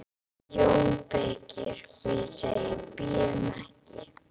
JÓN BEYKIR: Og ég segi: Bíðum ekki!